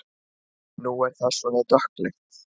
Nú er það svona dökkleitt!